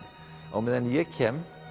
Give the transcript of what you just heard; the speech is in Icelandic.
á meðan ég kem